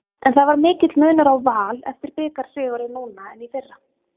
En það var mikill munur á Val eftir bikarsigurinn núna en í fyrra?